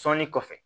Sɔnni kɔfɛ